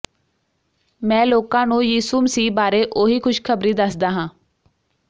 ਮੈਂ ਲੋਕਾਂ ਨੂੰ ਯਿਸੂ ਮਸੀਹ ਬਾਰੇ ਉਹੀ ਖੁਸ਼ਖਬਰੀ ਦੱਸਦਾ ਹਾਂ